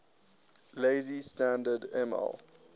lazy standard ml